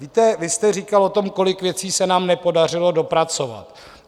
Víte, vy jste říkal o tom, kolik věcí se nám nepodařilo dopracovat.